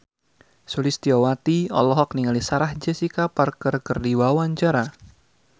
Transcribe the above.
Sulistyowati olohok ningali Sarah Jessica Parker keur diwawancara